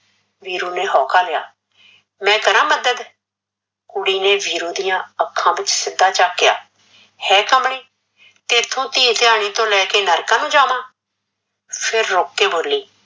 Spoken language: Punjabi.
ਵੀਰੂ ਨੇ ਹੋਕਾ ਲਿਆ, ਮੈਂ ਕਰਾਂ ਮੱਦਦ, ਕੁੜੀ ਨੇ ਵੀਰੂ ਦੀਆ ਅੱਖਾਂ ਵਿੱਚ ਸਿੱਧਾ ਚੱਕਿਆ, ਹੈ ਕਮਲੀ ਤੈਥੋਂ ਧੀ ਧਿਆਣੀ ਤੋਂ ਲੈਕੇ ਨਰਕਾਂ ਨੂੰ ਜਾਵਾਂ ਫਿਰ ਰੁਕ ਕੇ ਬੋਲੀ